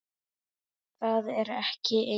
Það er ekki eins.